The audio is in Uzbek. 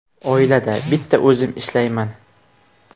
Oilada bitta o‘zim ishlayman.